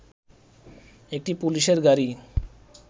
একটি পুলিশের গাড়ি